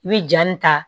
I bɛ ja nin ta